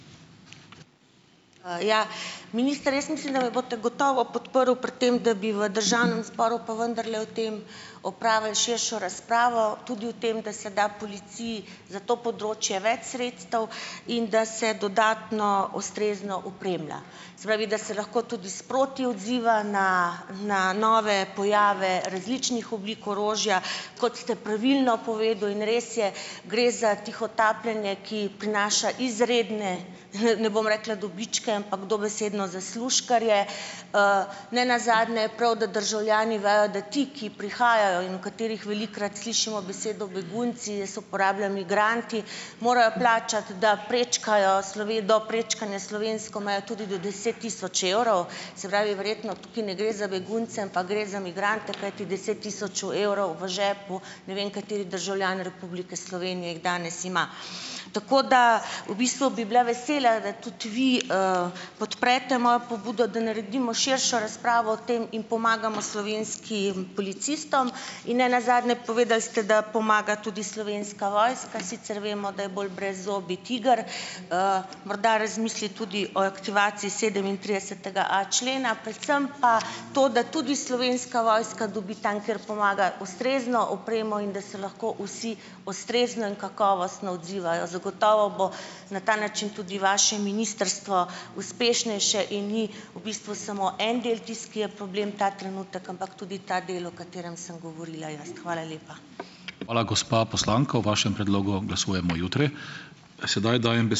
Ja, minister, Jaz mislim, da me boste gotovo podprl pri tem, da bi v državnem zboru pa vendarle o tem opravili širšo razpravo tudi o tem, da se da policiji za to področje več sredstev in da se dodatno ustrezno opremlja, se pravi, da se lahko tudi sproti odziva, ne, na nove pojave različnih oblik orožja, kot ste pravilno povedal, in res je, gre za tihotapljenje, ki prinaša izredne, ne bom rekla dobičke, ampak dobesedno zaslužkarje. Nenazadnje je prav, da državljani vejo, da ti, ki prihajajo in o katerih velikokrat slišimo besedo begunci, jaz uporabljam migranti, morajo plačati da prečkajo do prečkanje slovensko mejo tudi do deset tisoč evrov, se pravi, verjetno tukaj ne gre za begunce, ampak gre za migrante, kajti deset tisoč v evrov v žepu, ne vem, kateri državljan Republike Slovenije jih danes ima. Tako da v bistvu bi bila vesela, da tudi vi, podprete mojo pobudo, da naredimo širšo razpravo o tem in pomagamo slovenskim policistom. In nenazadnje, povedali ste, da pomaga tudi slovenska vojska, sicer vemo, da je bolj brezzobi tiger. Morda razmisli tudi o aktivaciji sedemintridesetega a člena, predvsem pa to, da tudi Slovenska vojska dobi tam, kjer pomaga, ustrezno opremo in da si lahko vsi ustrezno in kakovostno odzivajo. Zagotovo bo na ta način tudi vaše ministrstvo uspešnejše in ni v bistvu samo en del tisti, ki je problem ta trenutek, ampak tudi ta del, o katerem sem govorila jaz. Hvala lepa.